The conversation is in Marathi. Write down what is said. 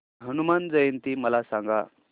हनुमान जयंती मला सांगा